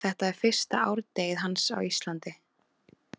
Þetta er fyrsta árdegið hans á Íslandi.